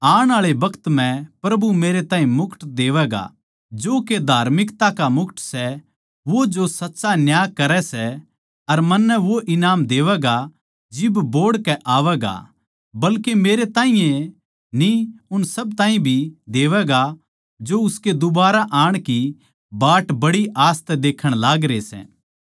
आण आळे बखत म्ह प्रभु मेरै ताहीं मुकुट देवैगा जो के धार्मिकता का मुकुट सै वो जो सच्चा न्याय करै सै अर मन्नै वो ईनाम देवैगा जिब बोहड़ के आवैगा बल्के मेरे ताहीं ए न्ही उन सब ताहीं भी देवैगा जो उसके दुबारा आण की बाट बड़ी आस तै देखण लागरे सै